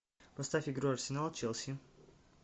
поставь игру арсенал челси